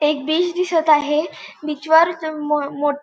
एक बीच दिसत आहे बीच वर म अ मो मोट --